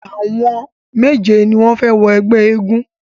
Àwọn méje ni wọ́n fẹ wọ ẹgbẹ́ eégún.